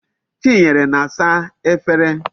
Chinyere na-asa Efere